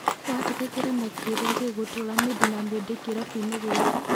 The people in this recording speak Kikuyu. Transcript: Watiga kĩrema kĩrĩa gĩgũtũra mĩndĩ na mĩndĩ kĩrabuinĩ gĩkĩ."